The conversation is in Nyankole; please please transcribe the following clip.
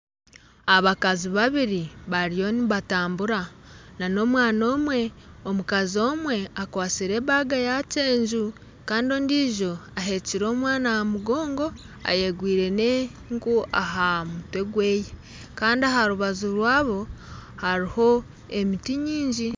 Abakazi babiri bariyo nibatambura na n'omwana omwe omukazi omwe akwastire ebaga yakyenju kandi ondijo aheekire omwana aha mugongo ayegwire n'enku aha mutwe gweye kandi aharubaju rwabo hariho emiti nyingi.